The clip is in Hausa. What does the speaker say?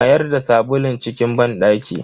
Mayar da sabulun cikin banɗaki.